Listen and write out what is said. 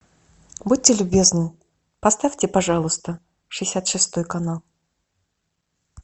будьте любезны поставьте пожалуйста шестьдесят шестой канал